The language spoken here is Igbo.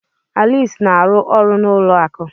Alice na-arụ ọrụ n'ụlọ akụ.